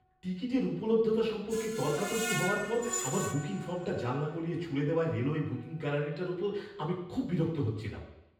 টিকিটের উপলব্ধতা সম্পর্কে তর্কাতর্কি হওয়ার পর আমার বুকিং ফর্মটা জানলা গলিয়ে ছুঁড়ে দেওয়ায় রেলওয়ে বুকিং কেরানিটার প্রতি আমি খুব বিরক্ত হচ্ছিলাম।